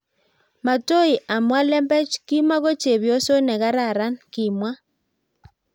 matoi amwa lembech kimoko chepyoso nekararan kimwa